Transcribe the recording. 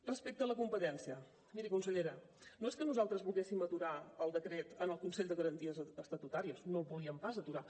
respecte a la competència miri consellera no és que nosaltres volguéssim aturar el decret en el consell de garanties estatutàries no el volíem pas aturar